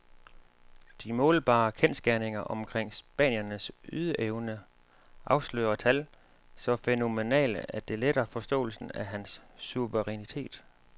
De målbare kendsgerninger omkring spanierens ydeevne afslører tal så fænomenale, at det letter forståelsen af hans suverænitet.